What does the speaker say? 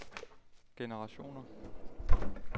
generationer